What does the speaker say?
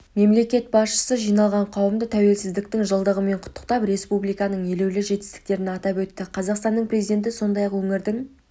мемлекет басшысы жиналған қауымды тәуелсіздіктің жылдығымен құттықтап республиканың елеулі жетістіктерін атап өтті қазақстан президенті сондай-ақ өңірдің